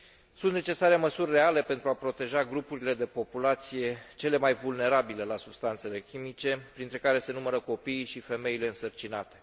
Sunt necesare măsuri reale pentru a proteja grupurile de populație cele mai vulnerabile la substanțele chimice, printre care se numără copiii și femeile însărcinate.